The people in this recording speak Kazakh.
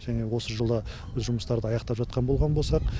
және осы жылы біз жұмыстарды аяқтап жатқан болған болсақ